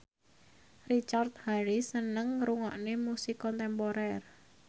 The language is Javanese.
Richard Harris seneng ngrungokne musik kontemporer